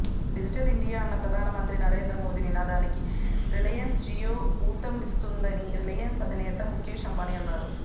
digital India అన్న ప్రధానమంత్రి నరేంద్ర మోదీ నినాదానికి రిలయన్స్ జియో ఊతమిస్తుందని రిలయన్స్ అధినేత ముఖేష్ అంబానీ అన్నారు